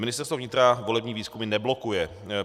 Ministerstvo vnitra volební výzkumy neblokuje.